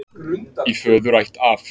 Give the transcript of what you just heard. Í föðurætt af